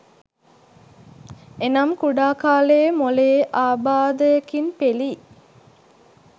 එනම් කුඩා කාලයේ මොළයේ අබාධයකින් පෙලී